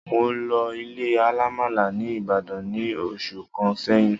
Mo lọ ilé alamala ní ìbàdàn ní oṣù kàn sẹyìn